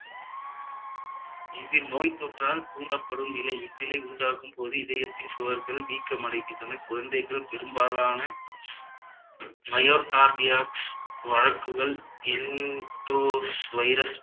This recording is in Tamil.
இது நோய்த்தொற்றால் தூண்டப்படும் நிலை இந்நிலை உண்டாகும் போது இதயத்தின் சுவர்கள் வீக்கமடைகின்றன குழந்தைகள் பெரும்பாலான myo cardiacs வளர்ப்புகள் virus